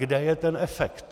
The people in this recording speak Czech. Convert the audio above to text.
Kde je ten efekt.